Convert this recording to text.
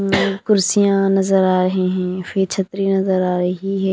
कुर्सियां नजर आ रही हैं फिर छत्री नजर आ रही है।